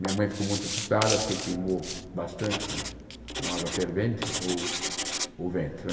Minha mãe ficou muito assustada porque queimou bastante com água fervente o o vento né.